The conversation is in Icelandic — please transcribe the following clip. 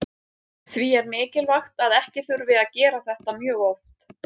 Því er mikilvægt að ekki þurfi að gera þetta mjög oft.